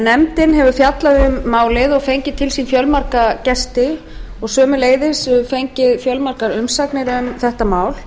nefndin hefur fjallað um málið og fengið til sín fjölmarga gesti og sömuleiðis fengið fjölmargar umsagnir um þetta mál